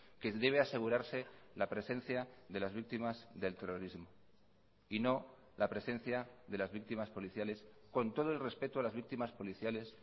que debe asegurarse la presencia de las víctimas del terrorismo y no la presencia de las víctimas policiales con todo el respeto a las víctimas policiales